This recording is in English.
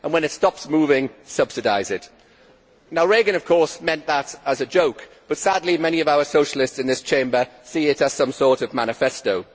and, when it stops moving, subsidise it'. Reagan, of course, meant that as a joke, but sadly many of our socialists in this Chamber see it as some sort of manifesto.